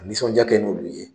Nisɔnja kɛ n'olu ye